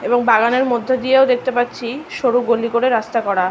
এবং বাগানের মর্ধ্য দিয়ে দেখতে পারছি সরু করে গলি করে রাস্তা করা।